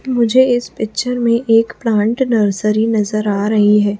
मुझे इस पिक्चर में एक प्लांट नर्सरी नजर आ रही है।